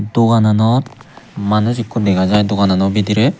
dogananot manuj ekko dega jaai doganano bidirey.